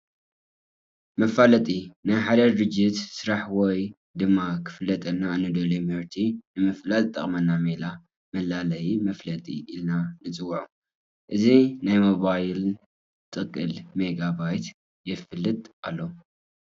መፋለጢ፡- ናይ ሓደ ድርጅት ስራሕ ወይ ድማ ክፋለጠልና እንደልዮ ምህርቲ ንምፍላጥ ዝጠቕመና ሜላ መላለዬ መፋለጢ ኢልና ንፅውዖ፡፡ እዚ ናይ ሞባይን ጥቅልል ሜጋ ባይት የፋልጥ ኣሎ፡፡